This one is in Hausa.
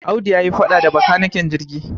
Audu ya yi faɗa da makanikin jirgi.